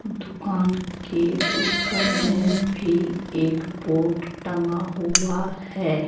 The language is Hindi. दुकान के ऊपर में भी एक बोड टंगा हुआ है।